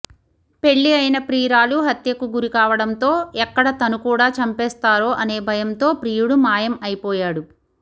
పెళ్లి అయిన ప్రియురాలు హత్యకు గురి కావడంతో ఎక్కడ తను కూడా చంపేస్తారో అనే భయంతో ప్రియుడు మాయం అయిపోయాడు